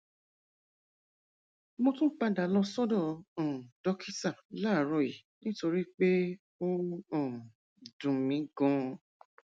mo tún padà lọ sọdọ um dókítà láàárọ yìí nítorí pé ó um dùn mí ganan